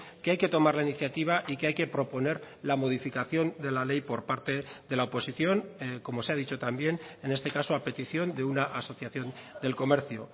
que hay que tomar la iniciativa y que hay que proponer la modificación de la ley por parte de la oposición como se ha dicho también en este caso a petición de una asociación del comercio